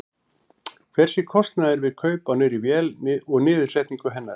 Hver sé kostnaður við kaup á nýrri vél og niðursetningu hennar?